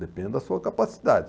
Depende da sua capacidade.